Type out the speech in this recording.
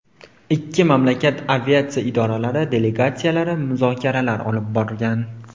Ikki mamlakat aviatsiya idoralari delegatsiyalari muzokaralar olib borgan.